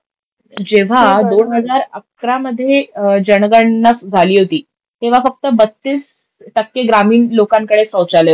जेव्हा दोन हजार अकरा मध्ये जनगणना झाली होती, तेव्हा फक्त बत्तीस टक्के ग्रामीण लोकांकडे सौचालय होते.